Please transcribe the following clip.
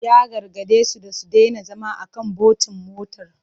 Ya gargade su da su daina zama a kan bontin motar.